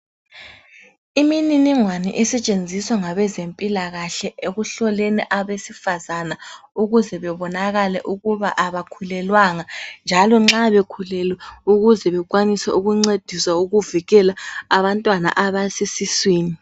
Imininingwane esetshenziswa ngabezempilakahle ekuhloleni abesifazana ukuze bebonakale ukuba abakhulelwanga njalo nxa bekhulelwe ukuze bekwanise ukuncediswa ukuvikela abantwana abasesiswini.